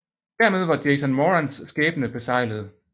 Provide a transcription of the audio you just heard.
Dermed var Jason Morans skæbne beseglet